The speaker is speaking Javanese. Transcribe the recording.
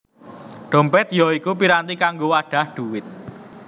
Dhompèt ya iku piranti kanggo wadhah dhuwit